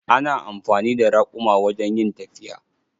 Ana amfani da raƙuma wajen yin tafiya.